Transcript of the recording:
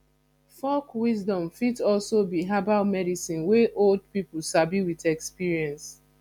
folk wisdom fit also be herbal medicine wey old pipo sabi with experience